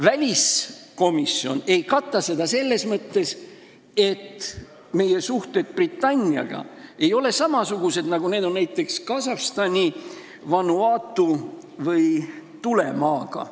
Väliskomisjon ei kata seda selles mõttes, et meie suhted Britanniaga ei ole samasugused, nagu need on näiteks Kasahstani, Vanuatu või Tulemaaga.